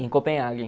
Em Copenhaguen.